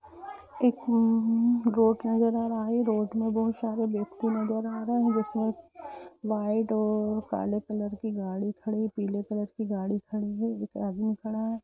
एक रोड नज़र आ रहा है रोड में बहुत सारे व्यक्ति नज़र आ रहे है जिसमे वाइट और काले कलर की गाड़ी खड़ी है पिले कलर की गाड़ी खड़ी है एक आदमी खड़ा है।